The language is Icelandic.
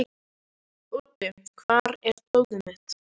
Úddi, hvar er dótið mitt?